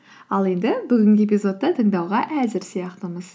ал енді бүгінгі эпизодты тыңдауға әзір сияқтымыз